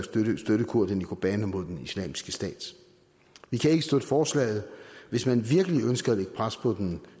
støtte kurderne i kobani mod islamisk stat vi kan ikke støtte forslaget hvis man virkelig ønsker at lægge pres på den